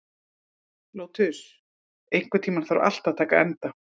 Lótus, einhvern tímann þarf allt að taka enda.